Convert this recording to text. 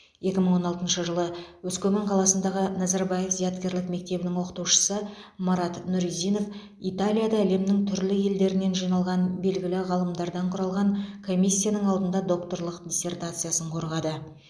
екі мың он алтыншы жылы өскемен қаласындағы назарбаев зияткерлік мектебінің оқытушысы марат нұризинов италияда әлемнің түрлі елдерінен жиналған белгілі ғалымдардан құралған комиссияның алдында докторлық диссертациясын қорғады